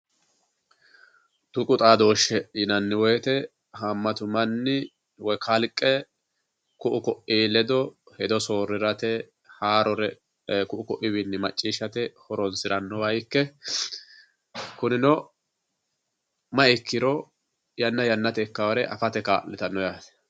Tuqu xaadoshe yinnanni woyte hamatu manni woyi kalqe ku"u koi ledo hedo soorirate haarore ku"u koiwinni macciishshate horonsiranoha ikke kunino mayi ikkiro yanna yannate ikkanore afate kaa'littano yaate.